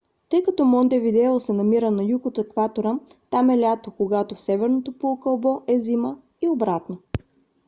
тъй като монтевидео се намира на юг от екватора там е лято когато в северното полукълбо е зима и обратно